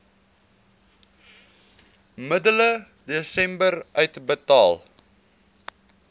middel desember uitbetaal